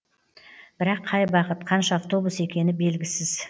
бірақ қай бағыт қанша автобус екені белгісіз